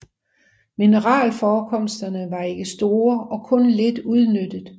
Mineralforekomsterne var ikke store og kun lidt udnyttet